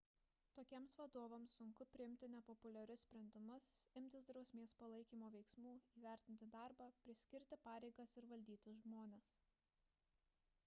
tokiems vadovams sunku priimti nepopuliarius sprendimus imtis drausmės palaikymo veiksmų įvertinti darbą priskirti pareigas ir valdyti žmones